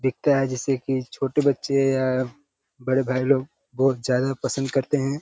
दीखता है जैसे की छोटे बच्चे या बड़े भाई लोग बहुत ज्यादा पसंद करते हैं।